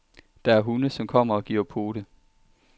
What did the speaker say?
Der er hunde, som kommer og giver pote.